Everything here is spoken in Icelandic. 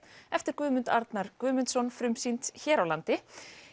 eftir Guðmund Arnar Guðmundsson frumsýnd hér á landi